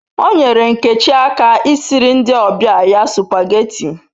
O nyere Nkechi aka I siri ndi obia ya supageti